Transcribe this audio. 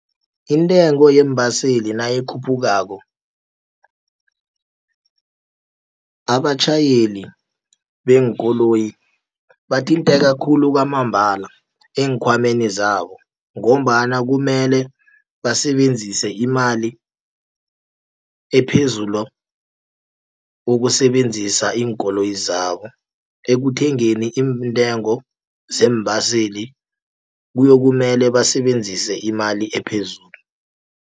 Intengo yeembaseli nayikhuphukako, abatjhayeli beenkoloyi bathinteka khulu kwamambala eenkhwameni zabo, ngombana kumele basebenzise imali ephezulu ukusebenzisa iinkoloyi zabo. Ekuthengeni iintengo zeembaseli kuyokumele basebenzise imali ephezulu.